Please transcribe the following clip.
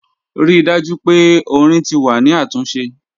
Rii daju pe ọ̀rìn ti wà ni atunse.